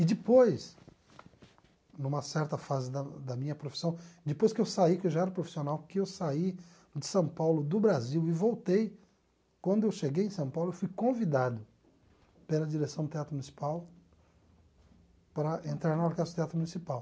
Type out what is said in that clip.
E depois, numa certa fase da da minha profissão, depois que eu saí, que eu já era profissional, que eu saí de São Paulo, do Brasil e voltei, quando eu cheguei em São Paulo, eu fui convidado pela direção do Teatro Municipal para entrar na Orquestra do Teatro Municipal.